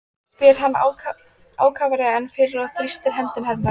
Það var farið að hvessa, þegar ég gekk burt.